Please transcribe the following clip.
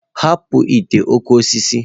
Hapụ ite okooko osisi.